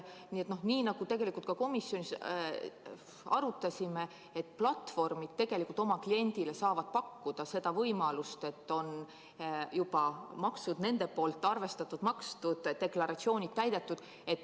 Nii nagu me tegelikult ka komisjonis arutasime, et platvormid oma kliendile saavad pakkuda seda võimalust, et maksud on juba nende poolt arvestatud, makstud, deklaratsioonid täidetud.